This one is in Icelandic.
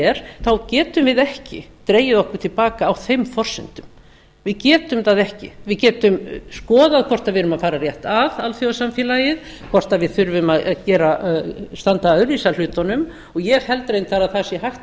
verr þá getum við ekki dregið okkur til baka á þeim forsendum við getum það ekki við getum skoðað hvort við erum að fara rétt að alþjóðasamfélagið hvort við þurfum að standa öðruvísi að hlutunum og ég held reyndar að það sé hægt að